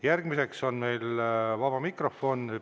Järgmiseks on meil vaba mikrofon.